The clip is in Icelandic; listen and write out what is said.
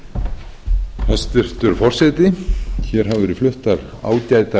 hér hafa verið fluttar ágætar ræður ég